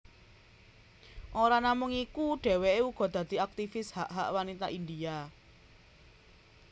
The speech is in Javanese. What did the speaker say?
Ora namung iku dheweké uga dadi aktifis hak hak wanita India